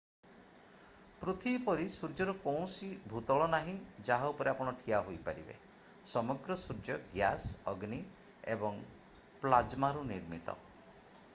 ପୃଥିବୀ ପରି ସୂର୍ଯ୍ୟର କୌଣସି ଭୂତଳ ନାହିଁ ଯାହା ଉପରେ ଆପଣ ଠିଆ ହୋଇପାରିବେ ସମଗ୍ର ସୂର୍ଯ୍ୟ ଗ୍ୟାସ ଅଗ୍ନି ଏବଂ ପ୍ଲାଜ୍ମାରୁ ନିର୍ମିତ